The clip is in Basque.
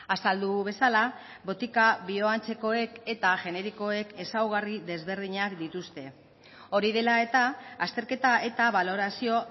azaldu bezala botika bioantzekoek eta generikoek ezaugarri desberdinak dituzte hori dela eta azterketa eta balorazio